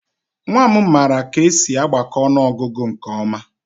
Nwa m maara ka esi agbakọ ọnụọgụgụ nke ọma